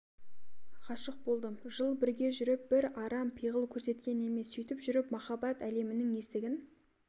ғашык болдым жыл бірге жүріп бір арам пиғыл көрсеткен емес сөйтіп жүріп махаббат әлемінің есігін